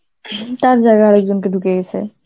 হম তার জায়গায় আরেকজনকে ঢুকিয়ে দিয়েছে,